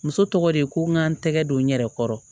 Muso tɔgɔ de ye ko n ka n tɛgɛ don n yɛrɛ kɔrɔ